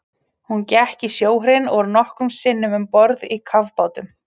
Hún gekk í sjóherinn og var nokkrum sinnum um borð í kafbátum.